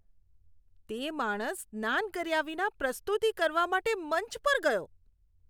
તે માણસ સ્નાન કર્યા વિના પ્રસ્તુતિ કરવા માટે મંચ પર ગયો.